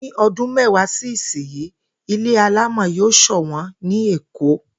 Ní o̩dún méwàá sí ìsinyìí, ilé alámò̩ yóò sò̩wó̩n ní Èkó